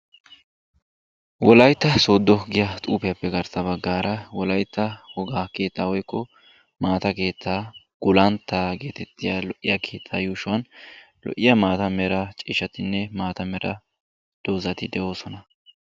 Wolaytta Sooddo giya xuufiyappe garssa baggaara wolaytta wogaa keetta woykko maata keettaa gulantta getettiya lo"iya keetta yuushuwan lo"iya maata mera ciishshatinne maata mera doozati de'oosona.